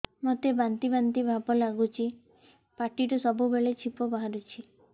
ମୋତେ ବାନ୍ତି ବାନ୍ତି ଭାବ ଲାଗୁଚି ପାଟିରୁ ସବୁ ବେଳେ ଛିପ ବାହାରୁଛି